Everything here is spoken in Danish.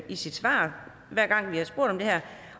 svar hver gang vi har spurgt om det her